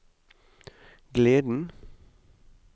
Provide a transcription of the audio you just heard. gleden